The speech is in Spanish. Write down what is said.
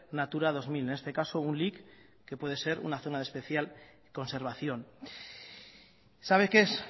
natura dos mil en este caso un lic que puede ser una zona de especial conservación sabe qué es